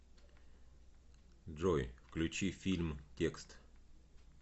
джой включи фильм текст